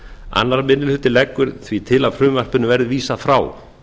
annar minni hluti leggur því til að frumvarpinu verði vísað frá